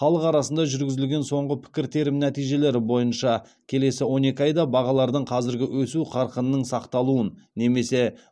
халық арасында жүргізілген соңғы пікіртерім нәтижелері бойынша келесі он екі айда бағалардың қазіргі өсу қарқынының сақталуын немесе